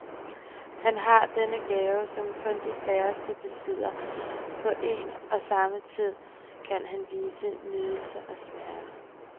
Han har denne gave, som kun de færreste besidder, på en og samme tid kan han vise nydelse og smerte.